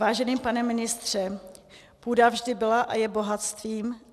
Vážený pane ministře, půda vždy byla a je bohatstvím.